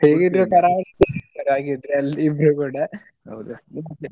ಇಬ್ರು ಕೂಡ